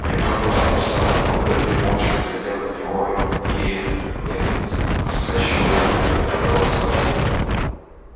я подал в отставку эрби молча глядя на него и лэннинг настойчиво повторил я подал в отставку